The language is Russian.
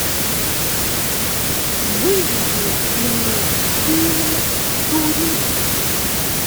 выведи мне фильм турист